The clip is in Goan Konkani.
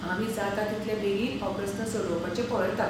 आमी जाता तितले बेगीन हो प्रस्न सोडोवपाचें पळयतात.